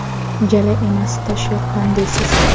Jala emas, tosh yoqqan deysiz.